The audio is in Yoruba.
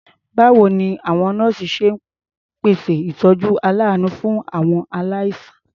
Báwo ni àwọn nọ́ọ̀sì ṣe ń ṣèpèsè ìtọ́jú aláàánú fún àwọn aláìsàn?